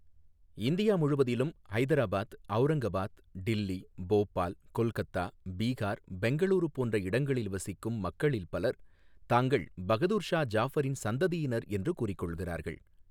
India முழுவதிலும், ஹைதராபாத், அவுரங்காபாத், டில்லி, போபால், கொல்கத்தா, பீகார், பெங்களூரு போன்ற இடங்களில் வசிக்கும் மக்களில் பலர் தாங்கள் பகதூர் ஷா ஜாபரின் சந்ததியினர் என்று கூறிக்கொள்கிறார்கள்.